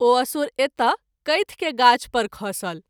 ओ असुर एत कैथ के गाछ पर खसल।